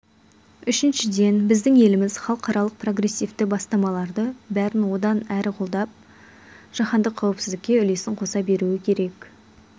үшіншіден біздің еліміз халықаралық прогрессивті бастамаларды бәрін одан әрі қолдап жаһандық қауіпсіздікке үлесін қоса беруі керек